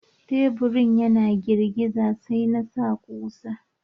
Taburin yana girgiza, sai na sa kusa.